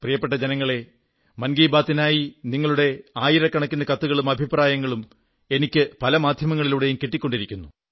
പ്രിയപ്പെട്ട ജനങ്ങളേ മൻ കീ ബാത്തിനായി നിങ്ങളുടെ ആയിരക്കണക്കിന് കത്തുകളും അഭിപ്രായങ്ങളും എനിക്ക് പല മാധ്യമങ്ങളിലൂടെയും കിട്ടിക്കൊണ്ടിരിക്കുന്നു